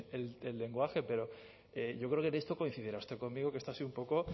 el lenguaje pero yo creo que en esto coincidirá usted conmigo que esto ha sido un poco